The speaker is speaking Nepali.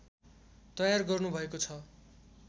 तयार गर्नुभएको छ